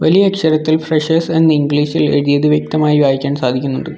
ഈ അക്ഷരത്തിൽ ഫ്രഷേഴ്സ് എന്ന് ഇംഗ്ലീഷ് ഇൽ എഴുതിയത് വ്യക്തമായി വായിക്കാൻ സാധിക്കുന്നുണ്ട്.